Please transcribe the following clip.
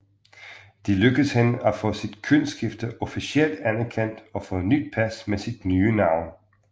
Det lykkedes hende at få sit kønsskifte officielt anerkendt og få nyt pas med sit nye navn